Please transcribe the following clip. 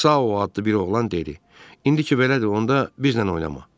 Sağ addı bir oğlan dedi: "İndi ki, belədir, onda bizlə oynama."